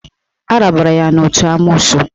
Arabara ya n'otu n'amoosu